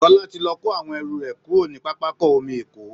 Sola ti lọ kó àwọn ẹrù rẹ̀ kúrò ní pápákọ̀ omi Èkó